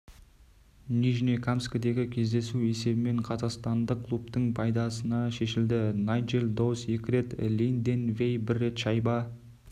нижнекамскідегі кездесу есебімен қазақстандық клубтың пайдасына шешілді найджел доус екі рет линден вей бір рет шайба